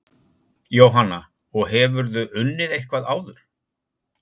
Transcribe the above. Jóhanna: Og hefurðu unnið eitthvað áður?